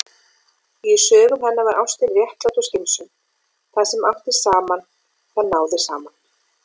Í sögum hennar var ástin réttlát og skynsöm: Það sem átti saman- það náði saman.